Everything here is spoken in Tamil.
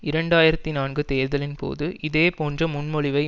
இரண்டு ஆயிரத்தி நான்கு தேர்தலின் போது இதே போன்ற முன்மொழிவை